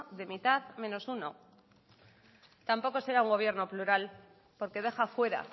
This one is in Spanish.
de mitad menos uno tampoco será un gobierno plural porque deja fuera